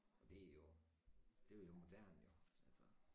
Og det jo det jo moderne altså